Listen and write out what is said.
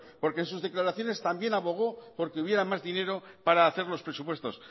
porque en sus declaraciones también abogó porque hubiera más dinero para hacer los presupuestos